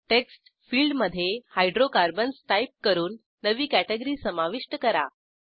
text फिल्डमधे hydrocarbons type करून नवी कॅटॅगरी समाविष्ट करा